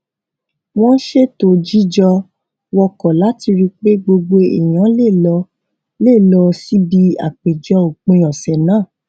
wón ṣètò jíjọ wọkò láti ri pé gbogbo èèyàn lè lọ lè lọ síbi àpèjẹ òpin òsè náà